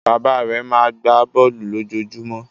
Bàbá rẹ̀ máa ń gbá bọ́ọ́lù lójoojúmọ́.